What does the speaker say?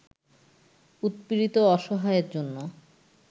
উৎপীড়িত ও অসহায়ের জন্য